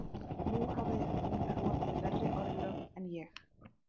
Nú hafði hún hlotið verri örlög en ég